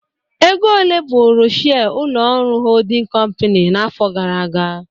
Ego ole bụrụ shire ụlọ ọrụ holding kọmpin n'afọ gara aga?